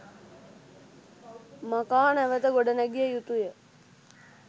මකා නැවත ගොඩ නැගිය යුතුය